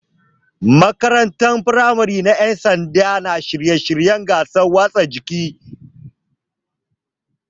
Makarantar firamare na Ƴan sanda na shirye shiryen gasar wasannin motsa jiki.